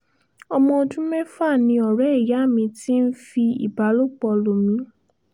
ọmọ ọdún mẹ́fà ni ọ̀rẹ́ ìyá mi ti ń fi ìbálòpọ̀ lọ̀ mí